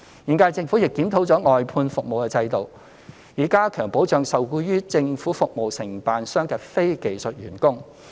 現屆政府亦檢討了外判服務制度，以加強保障受僱於政府服務承辦商的非技術員工。